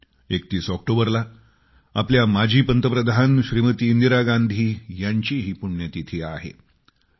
31 ऑक्टोबरला आपल्या माजी पंतप्रधान श्रीमती इंदिरा गांधी यांची पुण्यतिथीही आहे